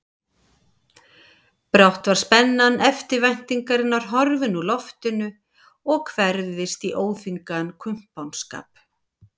Brátt var spenna eftirvæntingarinnar horfin úr loftinu og hverfðist í óþvingaðan kumpánskap.